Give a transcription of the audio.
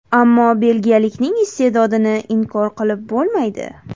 Ammo belgiyalikning ist’edodini inkor qilib bo‘lmaydi.